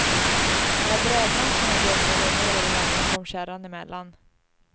När brädmassorna dundrade ner över honom kom kärran emellan.